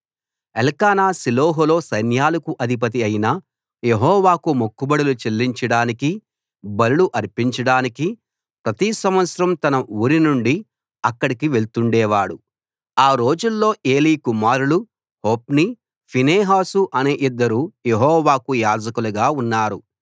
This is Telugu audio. ఎల్కానా షిలోహులో సైన్యాలకు అధిపతి అయిన యెహోవాకు మొక్కుబడులు చెల్లించడానికీ బలులు అర్పించడానికీ ప్రతి సంవత్సరం తన ఊరినుండి అక్కడికి వెళ్తుండేవాడు ఆ రోజుల్లో ఏలీ కుమారులు హొఫ్నీ ఫీనెహాసు అనే ఇద్దరు యెహోవాకు యాజకులుగా ఉన్నారు